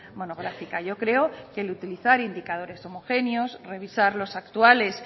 monográfica yo creo que el utilizar indicadores homogéneos revisar los actuales